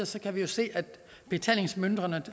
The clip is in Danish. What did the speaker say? så kan vi se at betalingsmønstrene